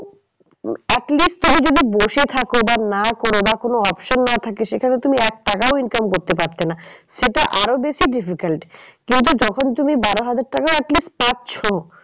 At least তুমি যদি বসে থাকো বা না করো বা কোনো option না থাকে সেখানে তুমি এক টাকাও income করতে পারতে না। সেটা আরো বেশি difficult কিন্তু যখন তুমি বারো হাজার at least পাচ্ছ।